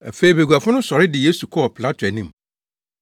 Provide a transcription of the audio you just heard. Afei baguafo no sɔre de Yesu kɔɔ Pilato anim.